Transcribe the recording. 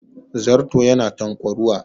Zarto yana tanƙwaruwa